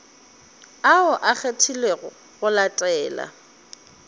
ao a kgethilwego go latela